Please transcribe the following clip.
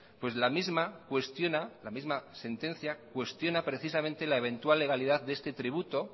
pues la misma cuestiona la misma sentencia cuestiona precisamente la eventual legalidad de este tributo